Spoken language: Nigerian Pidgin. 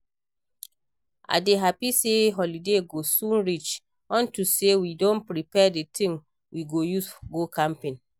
I dey happy say holiday go soon reach unto say we don prepare the things we go use go camping